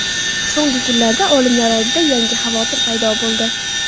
So‘nggi kunlarda olimlar oldida yangi xavotir paydo bo‘ldi.